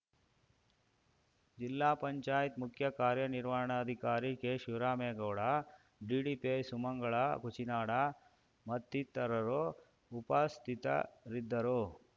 ಜಿಲ್ಲಾ ಪಂಚಾಯತ್‌ ಮುಖ್ಯ ಕಾರ್ಯನಿರ್ವಹಣಾಧಿಕಾರಿ ಕೆಶಿವರಾಮೇಗೌಡ ಡಿಡಿಪಿಐ ಸುಮಂಗಳಾ ಕುಚಿನಾಡ ಮತ್ತಿತರರು ಉಪಸ್ಥಿತರಿದ್ದರು